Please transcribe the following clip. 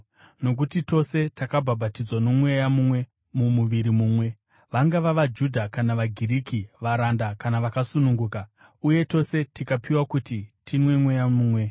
Nokuti tose takabhabhatidzwa noMweya mumwe mumuviri mumwe, vangava vaJudha kana vaGiriki, varanda kana vakasununguka, uye tose tikapiwa kuti tinwe Mweya mumwe.